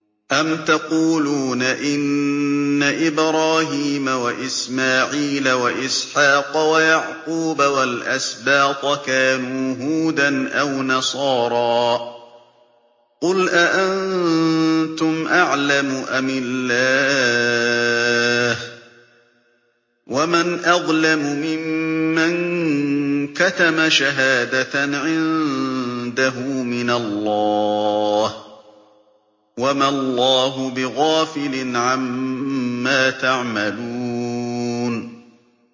أَمْ تَقُولُونَ إِنَّ إِبْرَاهِيمَ وَإِسْمَاعِيلَ وَإِسْحَاقَ وَيَعْقُوبَ وَالْأَسْبَاطَ كَانُوا هُودًا أَوْ نَصَارَىٰ ۗ قُلْ أَأَنتُمْ أَعْلَمُ أَمِ اللَّهُ ۗ وَمَنْ أَظْلَمُ مِمَّن كَتَمَ شَهَادَةً عِندَهُ مِنَ اللَّهِ ۗ وَمَا اللَّهُ بِغَافِلٍ عَمَّا تَعْمَلُونَ